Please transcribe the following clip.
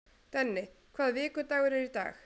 Denni, hvaða vikudagur er í dag?